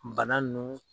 Bana nunnu